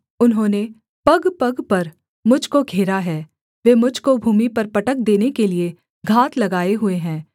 उन्होंने पगपग पर मुझ को घेरा है वे मुझ को भूमि पर पटक देने के लिये घात लगाए हुए हैं